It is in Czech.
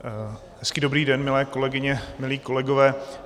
Hezký dobrý den, milé kolegyně, milí kolegové.